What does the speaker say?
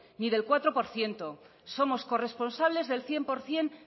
ni del cuatro por ciento somos corresponsables del cien por ciento